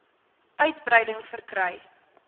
uitbreiding verkry